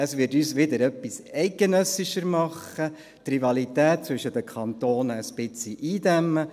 Es würde uns wieder etwas eidgenössischer machen, die Rivalität zwischen den Kantonen etwas eindämmen.